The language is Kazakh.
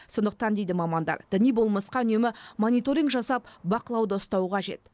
сондықтан дейді мамандар діни болмысқа үнемі мониторинг жасап бақылауда ұстау қажет